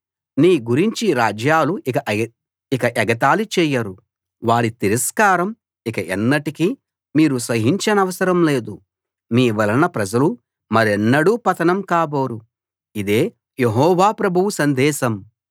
నీ గురించి రాజ్యాలు ఇక ఎగతాళి చేయరు వారి తిరస్కారం ఇక ఎన్నటికీ మీరు సహించనవసరం లేదు మీ వలన ప్రజలు మరెన్నడూ పతనం కాబోరు ఇదే యెహోవా ప్రభువు సందేశం